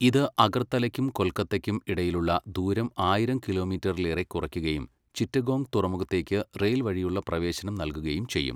ഇത് അഗർത്തലയ്ക്കും കൊൽക്കത്തയ്ക്കും ഇടയിലുള്ള ദൂരം ആയിരം കിലോമീറ്ററിലേറെ കുറയ്ക്കുകയും ചിറ്റഗോങ് തുറമുഖത്തേക്ക് റെയിൽ വഴിയുള്ള പ്രവേശനം നൽകുകയും ചെയ്യും.